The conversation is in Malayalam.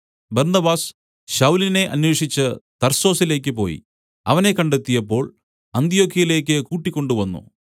ബർന്നബാസ് ശൌലിനെ അന്വേഷിച്ച് തർസോസിലേക്ക് പോയി അവനെ കണ്ടെത്തിയപ്പോൾ അന്ത്യൊക്യയിലേക്ക് കൂട്ടിക്കൊണ്ടുവന്നു